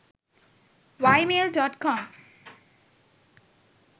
ymail.com